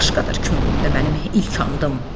Başqadır könlümdə mənim ilk andım.